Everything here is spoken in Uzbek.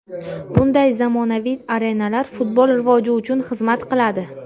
Bunday zamonaviy arenalar futbol rivoji uchun xizmat qiladi.